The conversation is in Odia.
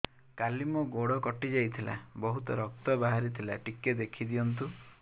କାଲି ମୋ ଗୋଡ଼ କଟି ଯାଇଥିଲା ବହୁତ ରକ୍ତ ବାହାରି ଥିଲା ଟିକେ ଦେଖି ଦିଅନ୍ତୁ